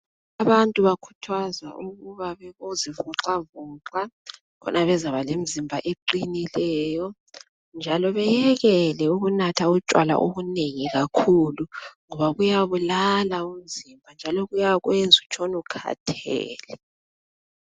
Abantu bakhuthazwa ukuba babozivoxavoxa, khona bezakuba lemizimba eqinileyo, njalo bayekele ukunatha utshwala obunengi, ngoba kuyabulala, njalo kuyakwenza utshone ukhathele.